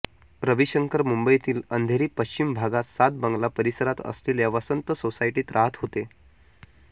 रविशंकर मुंबईतील अंधेरी पश्चिम भागात सात बंगला परिसरात असलेल्या वसंत सोसायटीत राहत होते